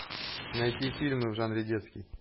найти фильмы в жанре детский